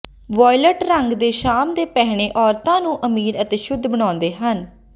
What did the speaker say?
violate ਰੰਗ ਦੇ ਸ਼ਾਮ ਦੇ ਪਹਿਨੇ ਔਰਤਾਂ ਨੂੰ ਅਮੀਰ ਅਤੇ ਸ਼ੁੱਧ ਬਣਾਉਂਦੇ ਹਨ